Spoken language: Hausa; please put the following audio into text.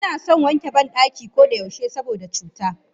Anason wanke bandaki koda yaushe saboda cuta.